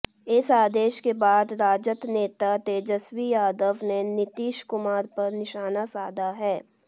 इस आदेश के बाद राजद नेता तेजस्वी यादव ने नीतीश कुमार पर निशाना साधा है